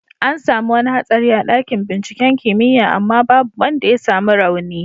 An samu wani hatsari a dakin binciken kimiyya amma babu wanda ya samu rauni.